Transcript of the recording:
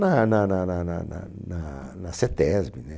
Na na na na na na na na CETESBI, né?